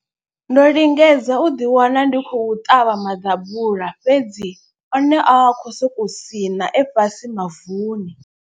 Ndo lingedza u ḓi wana ndi khou ṱavha maḓabula fhedzi o ne a khou sokou sina e fhasi mavuni.